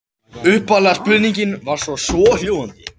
Upphafleg spurning var svohljóðandi: